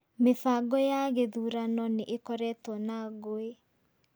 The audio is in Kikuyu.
Mĩbango ya gũthurano nĩ ĩkoretwo na ngũĩ.